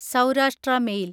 Saurashtra mail